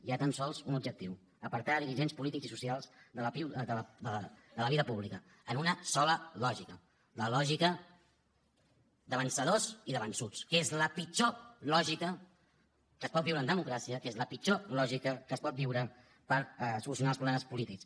hi ha tan sols un objectiu apartar dirigents polítics i socials de la vida pública en una sola lògica la lògica de vencedors i de vençuts que és la pitjor lògica que es pot viure en democràcia que és la pitjor lògica que es pot viure per solucionar els problemes polítics